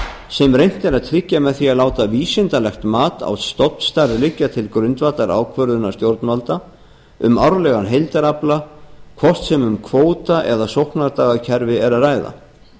sem reynt er að tryggja með því að láta vísindalegt mat á stofnstærð liggja til grundvallar ákvörðunar stjórnvalda um árlegan heildarafla hvort sem um kvóta eða sóknardagakerfi er að ræða